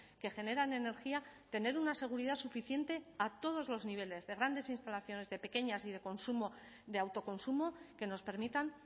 que generan energía tener una seguridad suficiente a todos los niveles de grandes instalaciones de pequeñas y de consumo de autoconsumo que nos permitan